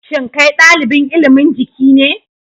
Shin kai dalibin ilimin Jiki ne